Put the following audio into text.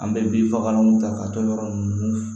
An bɛ binfagalanw ta k'a to yɔrɔ ninnu